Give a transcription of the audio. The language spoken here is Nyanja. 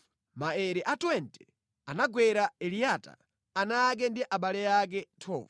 Maere a 20 anagwera Eliyata, ana ake ndi abale ake. 12